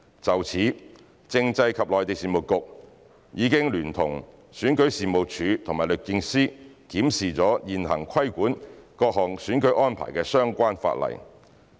就此，政制及內地事務局已聯同選舉事務處和律政司檢視了現行規管各項選舉安排的相關法例。